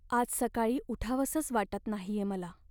आज सकाळी उठावंसंच वाटत नाहीये मला.